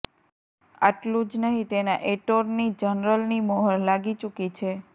આટલું જ નહી તેના એટોર્ની જનરલની મોહર લાગી ચુકી છે